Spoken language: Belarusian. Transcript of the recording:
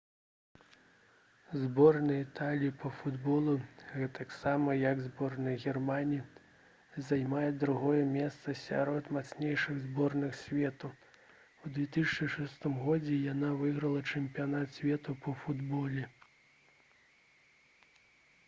зборная італіі па футболе гэтаксама як і зборная германіі займае другое месца сярод мацнейшых зборных свету у 2006 годзе яна выйграла чэмпіянат свету па футболе